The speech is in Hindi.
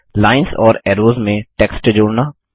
लाइन्स और ऐरोज़ में टेक्स्ट जोड़ना